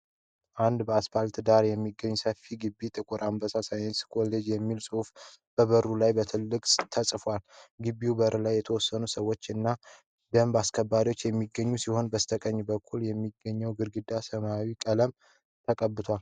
አንድ በአስፓልት ዳር የሚገኝ ሰፊ ግቢ "ጥቁር አንበሳ ሳይንስ ኮሌጅ" የሚል ጽሁፍ በበሩ ላይ በትልቁ ተጽፎበታል። ግቢው በር ላይ የተወሰኑ ሰዎች እና ደንብ አስከባሪዎች የሚገኙ ሲሆን በስተቀኝ በኩል የሚገኘው ግድግዳ ሰማያዊ ቀለምን ተቀብቷል።